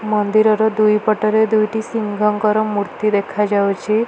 ମନ୍ଦିରର ଦୁଇପଟରେ ଦୁଇଟି ସିଂହଙ୍କର ମୂର୍ତ୍ତୀ ଦେଖାଯାଉଛି।